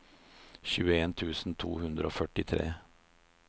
tjueen tusen to hundre og førtitre